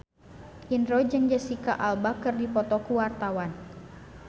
Indro jeung Jesicca Alba keur dipoto ku wartawan